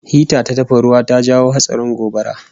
Hita ta dafa ruwa ta jawo hatsarin gobara